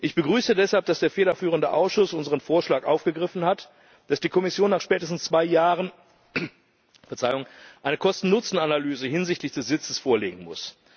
Ich begrüße deshalb, dass der federführende Ausschuss unseren Vorschlag aufgegriffen hat, dass die Kommission nach spätestens zwei Jahren eine Kosten Nutzen Analyse hinsichtlich des Sitzes vorlegen muss.